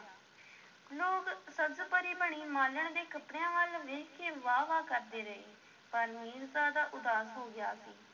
ਲੋਕ ਸਬਜ਼-ਪਰੀ ਬਣੀ ਮਾਲਣ ਦੇ ਕੱਪੜਿਆਂ ਵੱਲ ਵੇਖ ਕੇ ਵਾਹ-ਵਾਹ ਕਰਦੇ ਰਹੇ, ਪਰ ਮੀਰਜ਼ਾਦਾ ਉਦਾਸ ਹੋ ਗਿਆ ਸੀ।